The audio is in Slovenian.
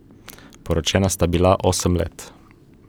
Poročena sta bila osem let.